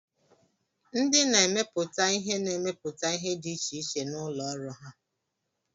Ndị na-emepụta ihe na-emepụta ihe di ichiche na ụlọ ọrụ ha